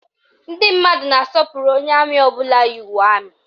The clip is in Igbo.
Ndị mmadụ na-asọpụrụ onye amị ọbụla yi uwe amị